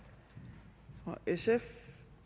fra sf